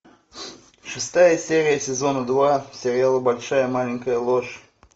шестая серия сезона два сериала большая маленькая ложь